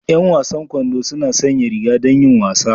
Yan wasan kwando suna sanya riga don yin wasa